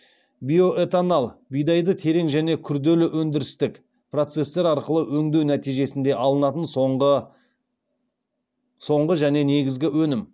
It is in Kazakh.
биоэтанол бидайды терең және күрделі өндірістік процестер арқылы өңдеу нәтижесінде алынатын соңғы және негізгі өнім